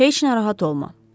Heç narahat olma.